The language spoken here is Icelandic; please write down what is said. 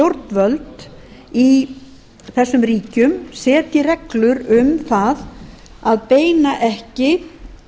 stjórnvöld í þessum ríkjum setji reglur um það að beina ekki